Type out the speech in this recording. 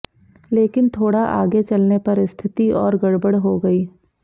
लेकिन थोड़ा आगे चलने पर स्थिति और गड़बड़ हो गई